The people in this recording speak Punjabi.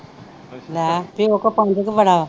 ਲੈ ਪਿਓ ਕੋ ਪੰਜ ਕਾ ਵੜਾ ਵਾ।